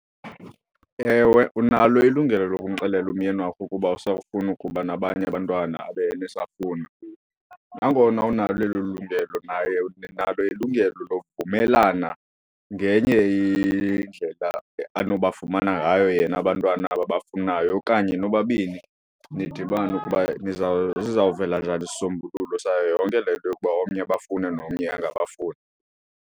Ewe, unalo ilungelo lokumxelela umyeni wakho ukuba awusafuni ukuba nabanye abantwana abe yena esafuna. Nangona unalo elo lungelo naye unalo ilungelo lovumelana ngenye indlela anobafumana ngayo yena abantwana ababafunayo. Okanye nobabini nidibane ukuba sizawuvela njani isisombululo sayo yonke le nto yokuba omnye ebafuna nomnye angabafuni.